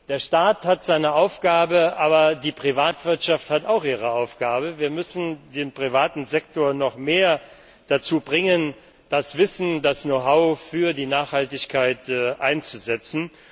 Der Staat hat seine Aufgabe, aber die Privatwirtschaft hat auch ihre Aufgabe. Wir müssen den privaten Sektor noch mehr dazu bringen, das Wissen, das Know how für die Nachhaltigkeit einzusetzen.